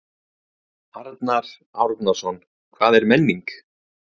Arnar Árnason: Hvað er menning?